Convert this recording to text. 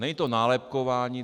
Není to nálepkování.